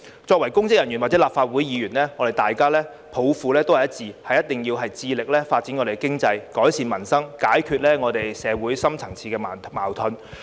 作為公職人員或立法會議員，大家抱負都是一致，致力發展經濟、改善民生，解決社會深層次矛盾。